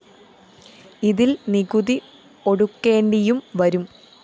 ഇതില്‍ നികുതി ഒടുക്കേണ്ടിയും വരും